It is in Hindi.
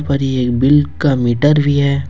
और ये एक बिल का मीटर भी है।